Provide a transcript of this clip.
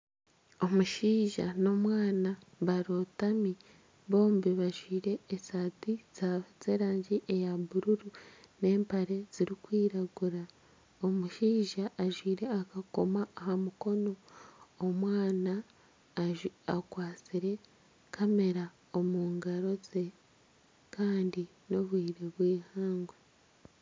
Omushaija n'omwana barotami bombi bajwaire esaati z'erangi eya buruuru n'empare zirikwiragura, omushaija ajwaire akakomo aha mukono omwana akwatsire kamera omu ngaro ze kandi n'obwire bw'eihangwe.